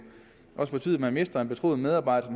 også betyde at man mister en betroet medarbejder